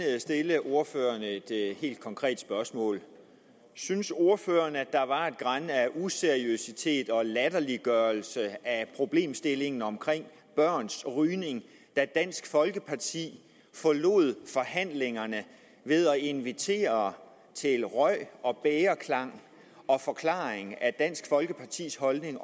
stille ordføreren et helt konkret spørgsmål synes ordføreren at der var et gran af useriøsitet over og latterliggørelse af problemstillingen om børns rygning da dansk folkeparti forlod forhandlingerne ved at invitere til røg og bægerklang og forklaring af dansk folkepartis holdning